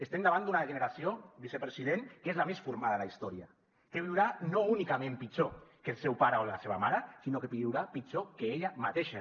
estem davant d’una generació vicepresident que és la més formada de la historia que viurà no únicament pitjor que el seu pare o la seva mare sinó que viurà pitjor que ella mateixa